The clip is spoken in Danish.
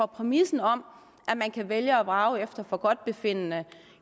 præmissen om at man kan vælge og vrage efter forgodtbefindende